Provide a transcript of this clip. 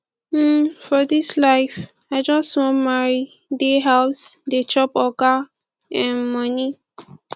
um for dis life i just wan marry dey house dey chop oga um moni